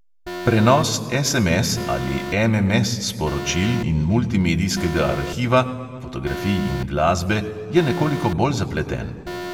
Prenos SMS- ali MMS-sporočil in multimedijskega arhiva (fotografij in glasbe) je nekoliko bolj zapleten.